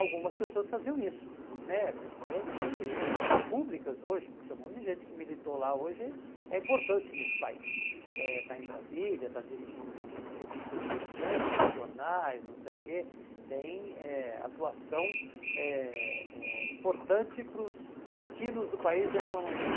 algumas pessoas faziam isso né, pessoas públicas hoje, porque um monte de gente que militou lá hoje é importante nesse país, está em Brasília, está dirigindo revistas importantes, jornais, não sei o que, tem atuação importante para os destinos do país de alguma maneira.